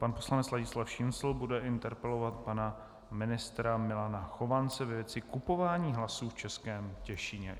Pan poslanec Ladislav Šincl bude interpelovat pana ministra Milana Chovance ve věci kupování hlasů v Českém Těšíně.